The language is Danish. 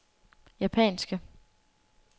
japanske